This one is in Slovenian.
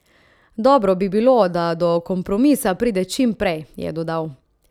Dobro bi bilo, da do kompromisa pride čim prej, je dodal.